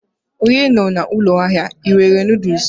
onye nọ na ụlọ ahịa a, ị nwere noodles?